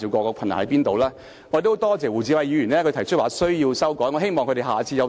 我十分多謝胡志偉議員提出有修改的必要。